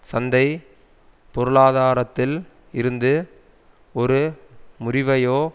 சந்தை பொருளாதாரத்தில் இருந்து ஒரு முறிவையோ